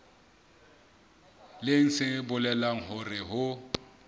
leng se bolelang hore ho